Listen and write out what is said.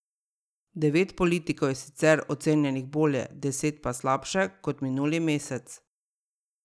Devet politikov je sicer ocenjenih bolje, deset pa slabše kot minuli mesec.